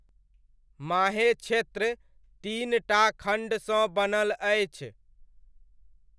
माहे क्षेत्र तीन टा खण्डसँ बनल अछि।